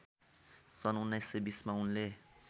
सन् १९२० मा उनले